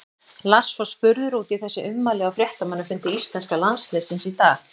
Lars var spurður út í þessi ummæli á fréttamannafundi íslenska landsliðsins í dag.